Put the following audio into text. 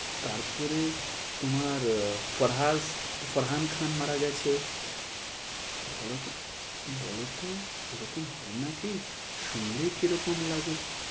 তারপরে তোমার ফারাজ ফারহান খান মারা গেছে। বলতো বলতো এরকম হয় নাকি শুনলেই কিরকম লাগে।